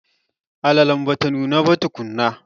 Alalen bata nuna ba tukunna.